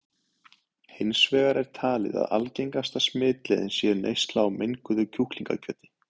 Hins vegar er talið að algengasta smitleiðin sé neysla á menguðu kjúklingakjöti.